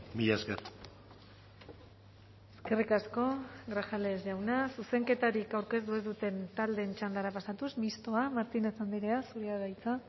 mila esker eskerrik asko grajales jauna zuzenketarik aurkeztu ez duten taldeen txandara pasatuz mistoa martínez andrea zurea da hitza